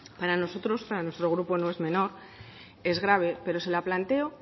para nosotros para nuestro grupo no es menor es grave pero se la planteo